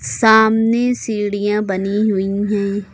सामने सीढ़ियां बनी हुई हैं।